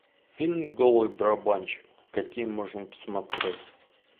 фильм голый барабанщик какие можно посмотреть